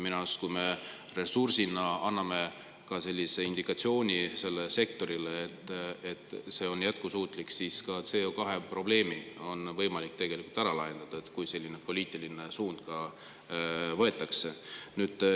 Ja kui me anname indikatsiooni sellele sektorile, et ressursina see on jätkusuutlik, siis ka CO2 probleem on võimalik ära lahendada, kui selline poliitiline suund võetakse.